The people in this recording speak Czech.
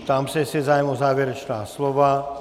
Ptám se, jestli je zájem o závěrečná slova?